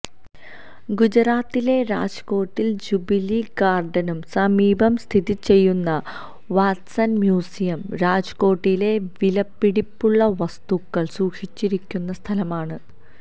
ഗുജറാത്തിലെ രാജ്കോട്ടില് ജൂബിലി ഗാര്ഡനു സമീപം സ്ഥിതി ചെയ്യുന്ന വാട്സണ് മ്യൂസിയം രാജ്കോട്ടിലെ വിലപിടിപ്പുള്ള വസ്തുക്കള് സൂക്ഷിച്ചിരിക്കുന്ന സ്ഥലമാണ്